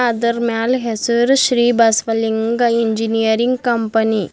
ಇದರ್ ಮ್ಯಾಲ್ ಹೆಸರು ಶ್ರೀ ಬಸವಲಿಂಗ ಇಂಜಿನಿಯರಿಂಗ್ ಕಂಪನಿ .